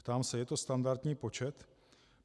Ptám se, je to standardní počet?